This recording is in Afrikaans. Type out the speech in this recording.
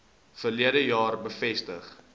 verlede jaar bevestig